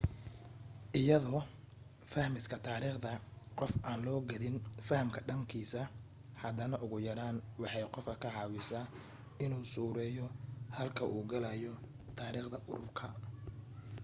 iyadoo fahmista taariikhda qof aan loo qaadin fahamka dhaqankiisa haddana ugu yaraan waxay qofka ka caawisaa inuu suureeyo halka u gelaayo taariikhda ururka